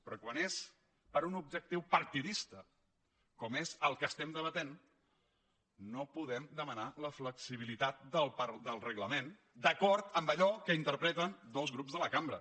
però quan és per un objectiu partidista com és el que estem debatent no podem demanar la flexibilitat del reglament d’acord amb allò que interpreten dos grups de la cambra